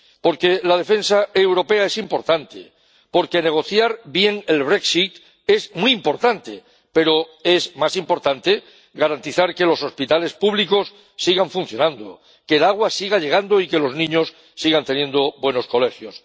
porque la defensa europea es importante, porque negociar bien el brexit es muy importante, pero es más importante garantizar que los hospitales públicos sigan funcionando, que el agua siga llegando y que los niños sigan teniendo buenos colegios